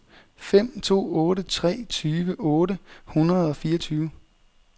fem to otte tre tyve otte hundrede og fireogtyve